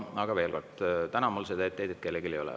Aga veel kord, täna mul seda etteheidet kellelegi ei ole.